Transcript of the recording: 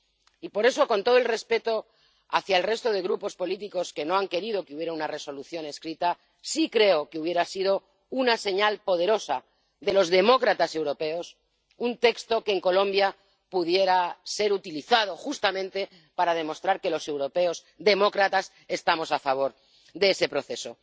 Y por eso, con todo el respeto hacia el resto de grupos políticos que no han querido que hubiera una Resolución escrita, sí creo que hubiera sido una señal poderosa de los demócratas europeos un texto que en Colombia pudiera ser utilizado justamente para demostrar que los europeos demócratas estamos a favor de ese proceso.